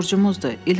Borcumuzdur.